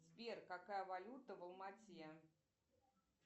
сбер какая валюта в алма ате